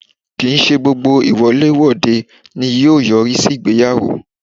Kì n ṣe gbógbó iwole-wodẹ ní yóò yọrí sí ìgbéyàwó